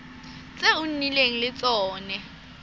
tse o nnileng le tsone